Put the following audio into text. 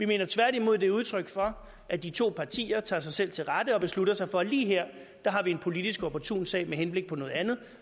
mener tværtimod det er udtryk for at de to partier tager sig selv til rette og beslutter sig for lige her har vi en politisk opportun sag med henblik på noget andet